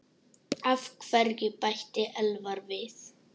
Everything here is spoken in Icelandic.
Af hverju? bætti Elvar við.